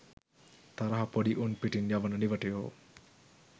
තරහ පොඩි උන් පිටින් යවන නිවටයෝ.